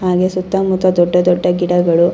ಹಾಗೆ ಸುತ್ತ ಮುತ್ತ ದೊಡ್ಡ ದೊಡ್ಡ ಗಿಡಗಳು.